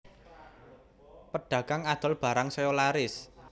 Pedagang adol barang saya laris